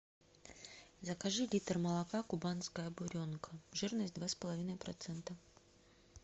закажи литр молока кубанская буренка жирность два с половиной процента